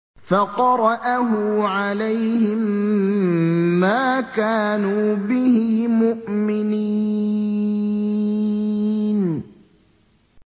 فَقَرَأَهُ عَلَيْهِم مَّا كَانُوا بِهِ مُؤْمِنِينَ